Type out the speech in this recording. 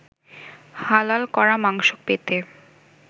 হালাল করা মাংস পেতে